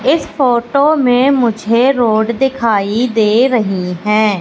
इस फोटो में मुझे रोड दिखाई दे रही है।